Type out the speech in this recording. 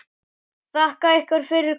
Þakka ykkur fyrir komuna.